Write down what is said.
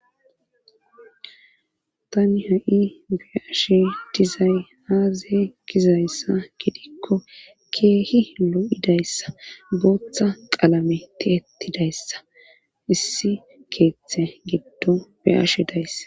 tani ha7i be ashe dizay aaazaye gizayssa gidikko keehi lo7idayssa booththa qalame ti ettidayssa issi keeththe giddo be ashe dayssa